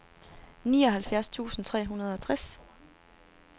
nioghalvfjerds tusind tre hundrede og tres